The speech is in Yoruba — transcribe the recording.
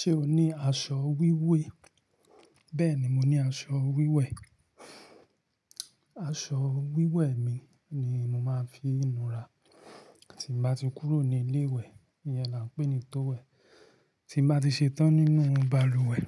Ṣé o ní aṣọ wíwé? Bẹ́ẹ̀ni, mo ní aṣọ wíwẹ̀. Aṣọ wíwẹ̀ mi ni mo máa ń fii nú ra. Tin bá ti kúrò ní ilé ìwẹ̀, iyẹn là ń pè ní towel. Tí n bá ti ṣetán nínú balùwẹ̀,